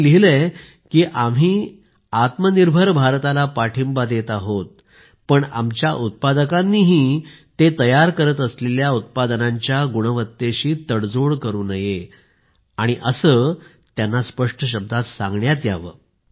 त्यांनी लिहिले आहे की आम्ही आत्मनिर्भर भारताला पाठिंबा देत आहोत पण आमच्या उत्पादकांनीही ते तयार करत असलेल्या उत्पादनांच्या गुणवत्तेशी तडजोड करू नये असे त्यांना स्पष्ट शब्दात सांगण्यात यावे